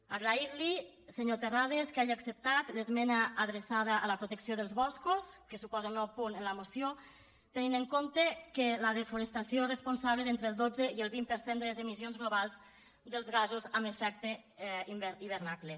agrair li senyor terrades que hagi acceptat l’esmena adreçada a la protecció dels boscos que suposa un nou punt en la moció tenint en compte que la desforestació és responsable d’entre el dotze i el vint per cent de les emissions globals dels gasos amb efecte hivernacle